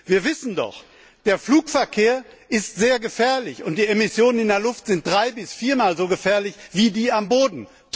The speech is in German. Wir wissen doch Der Flugverkehr ist sehr gefährlich, und die Emissionen in der Luft sind drei bis viermal so gefährlich wie die am Boden.